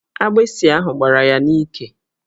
Agbịsị ahụ gbará ya n'íkè